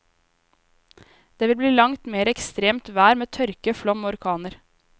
Det vil bli langt mere ekstremt vær med tørke, flom og orkaner.